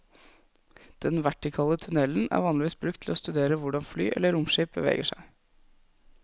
Den vertikale tunnelen er vanligvis brukt til å studere hvordan fly eller romskip beveger seg.